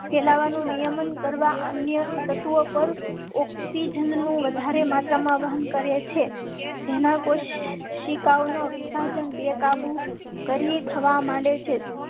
ફેલાવા નું નિયમન કરવા અન્ય તત્વો પર. ઓક્સીજન. નું વધારે માત્રા માં વહન કરે છે જેના કોશિકાઓનો વિભાજન બેકાબુ કરી થવા માંડે છે